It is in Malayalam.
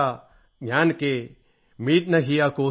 ജ്ഞാന് കേ മിടത് ന ഹിയ കോ സൂൽ